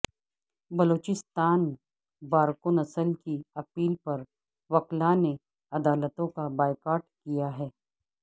Balochistan bar council کی appeal پروکلاء نے عدالتوں کا بائیکاٹ کیا ہے